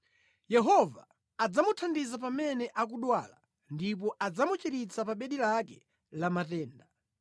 Yehova adzamuthandiza pamene akudwala ndipo adzamuchiritsa pa bedi lake la matenda.